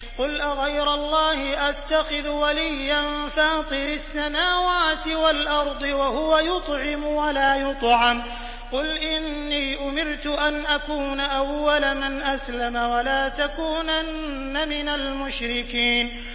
قُلْ أَغَيْرَ اللَّهِ أَتَّخِذُ وَلِيًّا فَاطِرِ السَّمَاوَاتِ وَالْأَرْضِ وَهُوَ يُطْعِمُ وَلَا يُطْعَمُ ۗ قُلْ إِنِّي أُمِرْتُ أَنْ أَكُونَ أَوَّلَ مَنْ أَسْلَمَ ۖ وَلَا تَكُونَنَّ مِنَ الْمُشْرِكِينَ